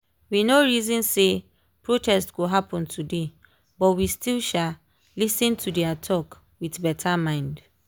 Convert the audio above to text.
we no reason say protest go happen today but we still um lis ten to their talk with better mind.